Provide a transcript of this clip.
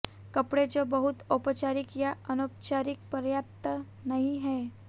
कपड़े जो बहुत औपचारिक या औपचारिक पर्याप्त नहीं हैं